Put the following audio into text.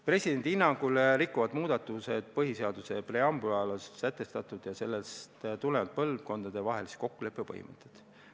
Presidendi hinnangul rikuvad muudatused põhiseaduse preambulis sätestatud ja sellest tulenevalt põlvkondadevahelise kokkuleppe põhimõtteid.